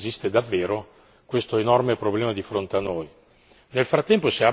per verificare se esiste davvero quest'enorme problema di fronte a noi.